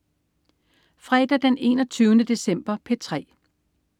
Fredag den 21. december - P3: